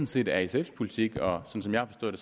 set er sfs politik og som som jeg har forstået